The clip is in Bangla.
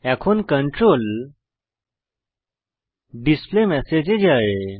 এখন কন্ট্রোল ডিসপ্লেমেসেজ এ যায়